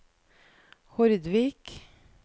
Hordvik